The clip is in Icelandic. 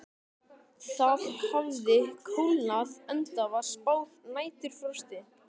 Það hafði kólnað enda var spáð næturfrosti.